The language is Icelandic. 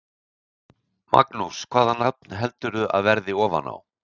Magnús: Hvaða nafn heldurðu að verði ofan á?